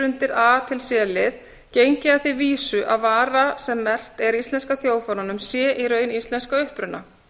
undir a til c lið gengið að því vísu að vara sem merkt er íslenska þjóðfánanum sé í raun íslensk að uppruna